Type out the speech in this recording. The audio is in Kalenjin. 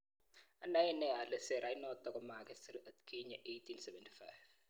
"Anae nee ale serait notok komakisiir atkinye 1875